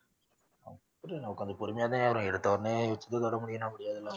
கொஞ்சம் பொறுமையோவே இரு. எடுத்த உடனே முடியும்னா முடியாதுல?